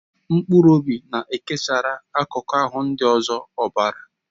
Mkpụrụ obi na-ekesara akụkụ ahụ ndị ọzọ ọbara.